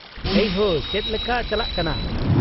-ᱮᱭ ᱦᱳ , ᱪᱮᱫ ᱞᱮᱠᱟ ᱪᱟᱞᱟᱜ ᱠᱟᱱᱟ ?